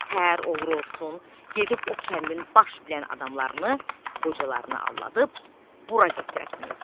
nətər olur olsun, gedib o kəndin baş bilən adamlarını, qocalarını aldadıb bura gətirəsiniz.